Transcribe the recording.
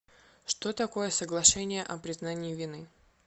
что такое соглашение о признании вины